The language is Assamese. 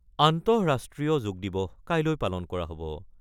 আন্তঃৰাষ্ট্ৰীয় যোগদিবস কাইলৈ পালন কৰা হ'ব।